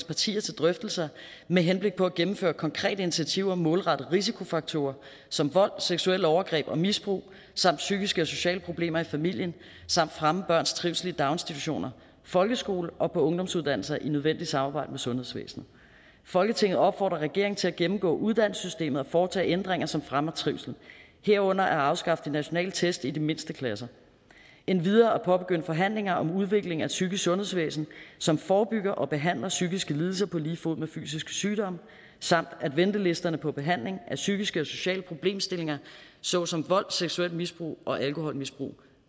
partier til drøftelser med henblik på at gennemføre konkrete initiativer målrettet risikofaktorer som vold seksuelle overgreb og misbrug samt psykiske og sociale problemer i familien samt at fremme børns trivsel i daginstitutioner folkeskole og på ungdomsuddannelser i nødvendigt samarbejde med sundhedsvæsenet folketinget opfordrer regeringen til at gennemgå uddannelsessystemet og foretage ændringer som fremmer trivslen herunder at afskaffe de nationale test i de mindste klasser og endvidere at påbegynde forhandlinger om udviklingen af et psykisk sundhedsvæsen som forebygger og behandler psykiske lidelser på lige fod med fysiske sygdomme samt at ventelisterne for behandling af psykiske og sociale problemstillinger såsom vold seksuelt misbrug og alkoholmisbrug